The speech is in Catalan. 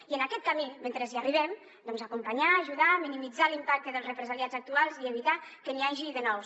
i en aquest camí mentre hi arribem doncs acompanyar ajudar minimitzar l’impacte dels represaliats actuals i evitar que n’hi hagi de nous